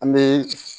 An bɛ